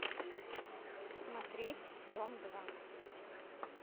смотреть дом два